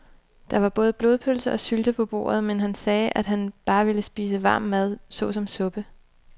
Der var både blodpølse og sylte på bordet, men han sagde, at han bare ville spise varm mad såsom suppe.